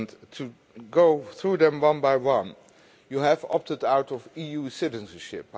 To go through them one by one, you have opted out of EU citizenship.